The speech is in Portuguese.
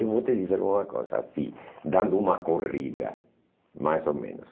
Eu vou te dizer uma coisa, assim, dando uma corrida, mais ou menos.